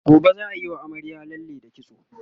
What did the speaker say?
gobe zaa Yi wa amaryar lalle da kitso